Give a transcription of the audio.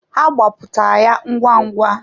Ha gbapụta ya ngwa ngwa.